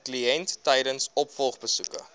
kliënt tydens opvolgbesoeke